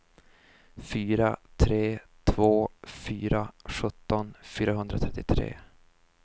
fyra tre två fyra sjutton fyrahundratrettiotre